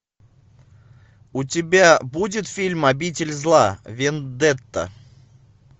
у тебя будет фильм обитель зла вендетта